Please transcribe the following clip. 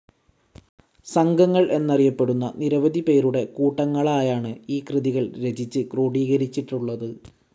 സംഘങ്ങൾ എന്നറിയപ്പെടുന്ന നിരവധി പേരുടെ കൂട്ടങ്ങളായാണ്‌ ഈ കൃതികൾ രചിച്ച് ക്രോഡീകരിച്ചിട്ടുള്ളത്.